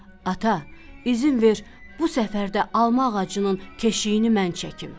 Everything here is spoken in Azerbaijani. Ata, üzün ver bu səfər də alma ağacının keşiyini mən çəkim.